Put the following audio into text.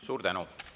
Suur tänu!